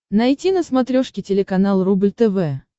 найти на смотрешке телеканал рубль тв